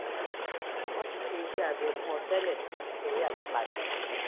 wọ́n ti ṣe iṣẹ́ abẹ fún ọ tẹ́lẹ̀ nítorí àyípadà